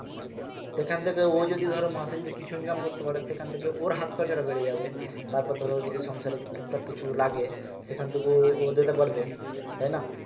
সেখান থেকে ও যদি ধরো মাসে যদি কিছু income করতে পারে সেখান থেকে ওর হাত খরচাটা বেরিয়ে যাবে তারপর ধরো যদি সংসারে টুক টাক কিছু লাগে সেখান থেকে ও দিতে পারবে তাই না